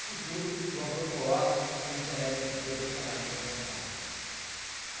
Isso tudo o autor coloca por intermédio do seu personagem, que é o fantasma.